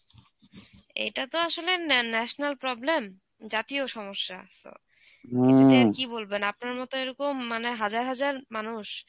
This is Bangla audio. এটা তো আসলে ন্যা~ national problem, জাতীয় সমস্যা. এটা তে আর কী বলবেন, আপনার মতো এরকম মানে হাজার হাজার মানুষ,